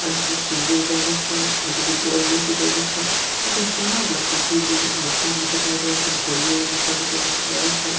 ಅಂಚಿನ ಶ್ರಿಂಗೇರಿ ದೇವಸ್ಥಾನ ಅಂಚಿ ದುರ್ಗಪರಮೇಶ್ವರಿ ದೇವಸ್ಥಾನ ಅಂಚ ಸುಮಾರ್ ಉಲ್ಲ ಕಟೀಲ್ ಮೂಕಾಂಬಿಕ ತಾಯಿ ದೇವಸ್ಥಾನ ಕೊಲ್ಲೂರು ಮೂಕಾಂಬಿಕ ದೇವಸ್ಥಾನ.